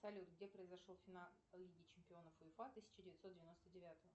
салют где произошел финал лиги чемпионов уефа тысяча девятьсот девяносто девятого